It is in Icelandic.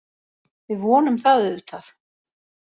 Við vonum það auðvitað